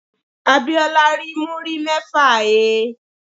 Abíọ́lá rí múrí mẹ́fà he.